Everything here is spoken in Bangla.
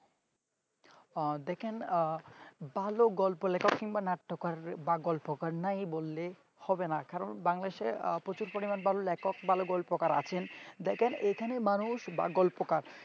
দেখেন ভালো গল্প লেখক বা নাট্যকার বা গল্পকার নাই বললে হবে না কারণ বাংলাদেশ বাংলাদেশে প্রচুর পরিমাণ ভালো লেখক ভালো গল্পকার আছেন দেখেন এখানে মানুষ বা গল্পকার